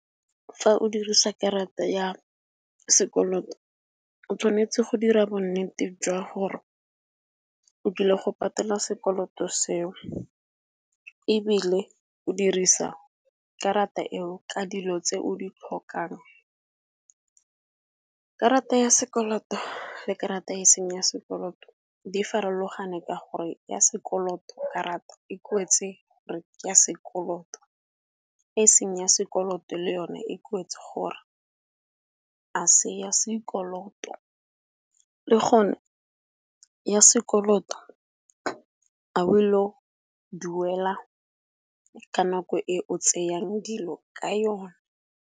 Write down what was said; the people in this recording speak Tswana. Fa o dirisa karata ya sekoloto o tshwanetse go dira bonnete jwa gore o dule go patela sekoloto seo ebile o dirisa karata eo ka dilo tse o di tlhokang. Karata ya sekoloto le karata e seng ya sekoloto di farologane ka gore ya sekoloto karata e kwetse gore ya sekoloto, e seng ya sekoloto le yone e kwetse gore a se ya sekoloto. Le gone ya sekoloto a o ile go duela ka nako e o tseyang dilo ka yone.